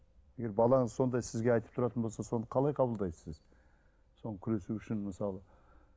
егер балаңыз сондай сізге айтып тұратын болса соны қалай қабылдайсыз сіз күресу үшін мысалы